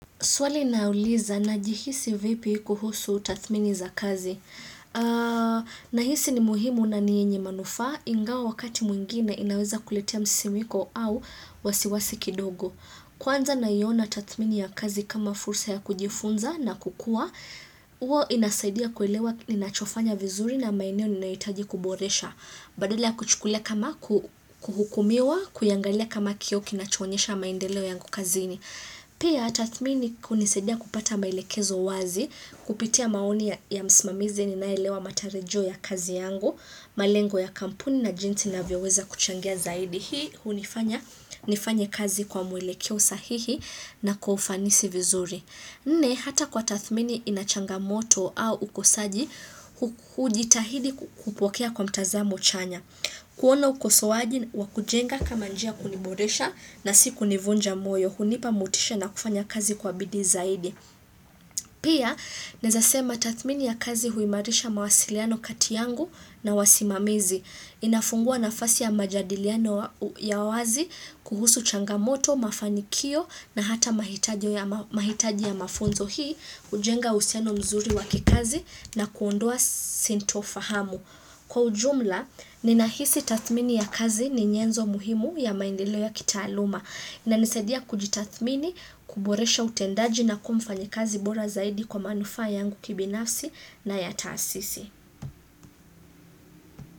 Swali na uliza na jihisi vipi kuhusu tathmini za kazi. Na hisi ni muhimu na ni yenye manufa ingawa wakati mwingine inaweza kuletea msimiko au wasiwasi kidogo. Kwanza naiona tathmini ya kazi kama fursa ya kujifunza na kukua, huwa inasaidia kuelewa ninachofanya vizuri na maeneo ninaitaji kuboresha. Badala ya kuchukulia kama kuhukumiwa, kuiangalia kama kioo kinachoonyesha maendeleo yangu kazini. Pia ta thmini kunisaidia kupata maelekezo wazi, kupitia maoni ya msimamizi ninaelewa matarajio ya kazi yangu, malengo ya kampuni na jinsi na vyoweza kuchangia zaidi. Hii hunifanya nifanye kazi kwa mwelekeo sahihi na kwa ufanisi vizuri. Nne hata kwa tathmini inachanga moto au ukosaji kujitahidi kupokea kwa mtazamo chanya. Kuona ukosoaji wakujenga kama njia ya kuniboresha na siku nivunja moyo, hunipa mutisha na kufanya kazi kwa bidii zaidi. Pia, naezasema tathmini ya kazi huimarisha mawasiliano katiyangu na wasimamizi. Inafungua nafasi ya majadiliano ya wazi kuhusu changamoto, mafanikio na hata mahitaji ya mafunzo hii, kujenga usiano mzuri wakikazi na kuondoa sinto fahamu. Kwa ujumla, ninahisi tathmini ya kazi ni nyenzo muhimu ya maendelo ya kita aluma. Inanisaidia kujitathmini, kuboresha utendaji na kumfanyi kazi bora zaidi kwa manufa yangu kibinafsi na ya taasisi.